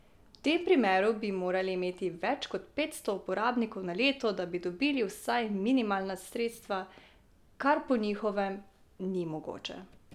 V tem primeru bi morali imeti več kot petsto uporabnikov na leto, da bi dobili vsaj minimalna sredstva, kar po njihovem ni mogoče.